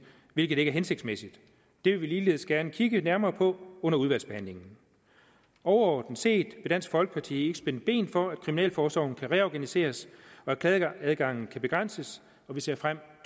hvilket ikke er hensigtsmæssigt det vil vi ligeledes gerne kigge nærmere på under udvalgsbehandlingen overordnet set vil dansk folkeparti ikke spænde ben for at kriminalforsorgen kan reorganiseres og at klageadgangen kan begrænses og vi ser frem